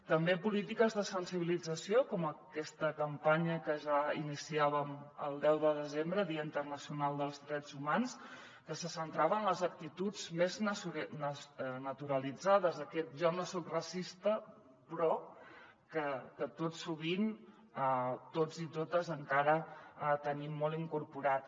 també polítiques de sensibilització com aquesta campanya que ja iniciàvem el deu de desembre dia internacional dels drets humans que se centrava en les actituds més naturalitzades aquest jo no soc racista però que tot sovint tots i totes encara tenim molt incorporat